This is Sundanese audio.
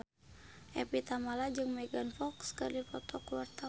Evie Tamala jeung Megan Fox keur dipoto ku wartawan